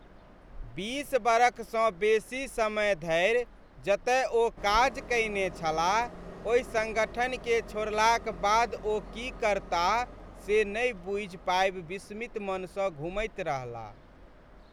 बीस बरखसँ बेसी समय धरि जतय ओ काज कयने छलाह ओहि सङ्गठनकेँ छोड़लाक बाद ओ की करताह से नहि बुझि पाबि विस्मित मनसँ घुमैत रहलाह।